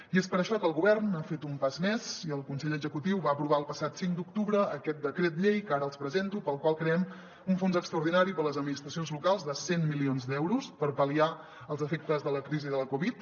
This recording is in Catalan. i és per això que el govern ha fet un pas més i el consell executiu va aprovar el passat cinc d’octubre aquest decret llei que ara els presento pel qual creem un fons extraordinari per a les administracions locals de cent milions d’euros per pal·liar els efectes de la crisi de la covid